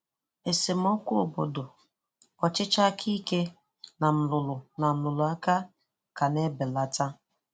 Esemokwu obodo, ọchịchị aka ike, na nrụrụ na nrụrụ aka ka na ebelata.